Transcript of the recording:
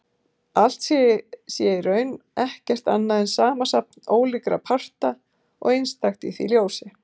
Allt sé í raun ekkert annað en samansafn ólíkra parta og einstakt í því ljósi.